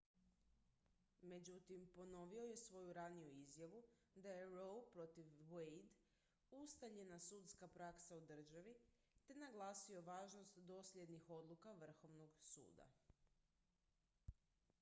međutim ponovio je svoju raniju izjavu da je roe protiv wade ustaljena sudska praksa u državi te naglasio važnost dosljednih odluka vrhovnog suda